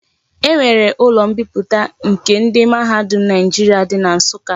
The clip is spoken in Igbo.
E nwere ulo mbiputa nke ndi mahadum Naijiria di na Nsuka.